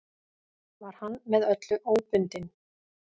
Var hann með öllu óbundinn.